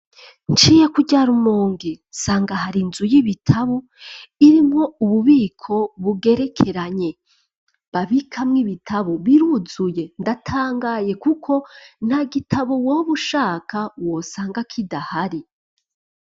Nciye kurya Rumonge nsanga ahari inzu y'ibitabo irimo ububiko bugerekeranye babikamw'ibitabo biruzuye ndatangaye kuko nta gitabo woba ushaka wosanga kidahari.